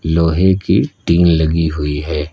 लोहे की टीन लगी हुई है।